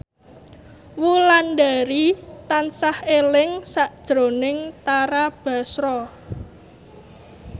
Wulandari tansah eling sakjroning Tara Basro